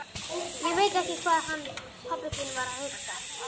Ég veit ekki hvað hann pabbi þinn var að hugsa!